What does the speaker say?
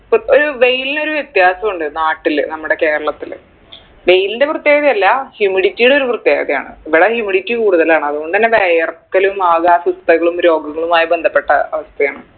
ഒരു വെയിൽനൊരു വ്യത്യാസുണ്ട് നാട്ടില് നമ്മുടെ കേരളത്തില് വെയിലിൻറെ പ്രത്യേകത അല്ല humidity യുടെ ഒരു പ്രത്യേകതയാണ് ഇവിടെ humidity കൂടുതലാണ് അതുകൊണ്ട് തന്നെ വെയർക്കലും ആക അസ്വസ്ഥകളും രോഗങ്ങളു ആയി ബന്ധപ്പെട്ട അവസ്ഥയാണ്